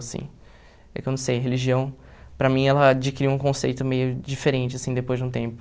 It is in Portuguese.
Assim, é que eu não sei, religião, para mim, ela adquiriu um conceito meio diferente assim depois de um tempo.